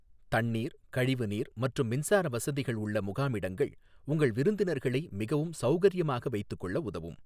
தண்ணீர், கழிவுநீர் மற்றும் மின்சார வசதிகள் உள்ள முகாமிடங்கள் உங்கள் விருந்தினார்களை மிகவும் சௌகரியமாக வைத்துக்கொள்ள உதவும்.